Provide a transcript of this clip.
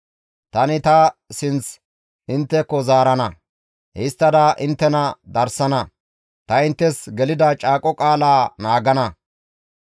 « ‹Tani ta sinth intteko zaarana; histtada inttena darsana; ta inttes gelida caaqo qaalaa naagana.